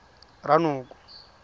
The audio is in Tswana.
ranoko